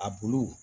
A bulu